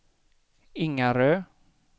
Ingarö